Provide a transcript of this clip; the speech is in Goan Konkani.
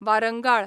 वारंगाळ